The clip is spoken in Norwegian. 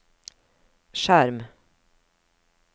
skjerm